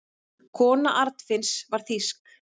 Kona Arnfinns var þýsk.